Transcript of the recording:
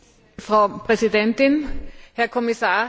Frau Präsidentin, Herr Kommissar!